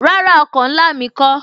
Rárá, oko ńlá mi kó